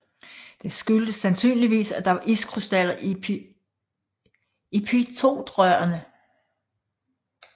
Det skyldtes sandsynligvis at der var iskrystaller i pitotrørene